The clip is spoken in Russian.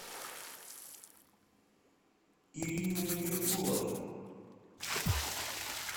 ириной меркуловой